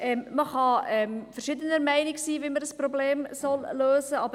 Man kann unterschiedlicher Meinung sei, wie das Problem zu lösen sei.